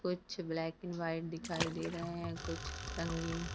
कुछ black and white दिखाई दे रहा है कुछ रंगीन --